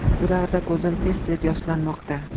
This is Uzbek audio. Bu davrda ko‘zim tez tez yoshlanmoqda.